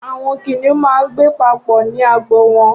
Awọn kiniùn mà n gbé papọ ninú àgbó wọn